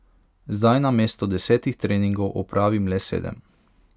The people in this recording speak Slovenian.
Zdaj namesto desetih treningov opravim le sedem.